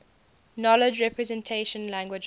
knowledge representation languages